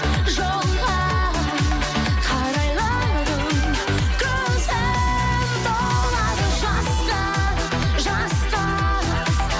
жолға қарайладым көзім толады жасқа жасқа